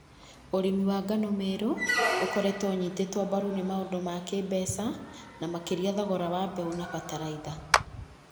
U͂ri͂mi wa ngano Meru u͂koretwo u͂nyi͂ti͂two mbaru͂ ni͂ maundu͂ ma ki͂imbeca na maki͂ria thogora wa mbeu͂ na fertilizer.